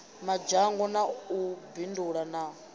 madzhango na u bindula na